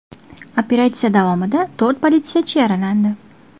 Operatsiya davomida to‘rt politsiyachi yaralandi.